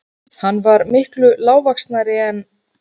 Hann var miklu lágvaxnari en